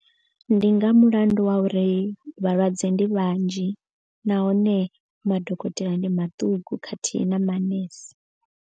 Ndi nga mulandu wa uri vhalwadze ndi vhanzhi. Nahone madokotela ndi maṱuku khathihi na manese.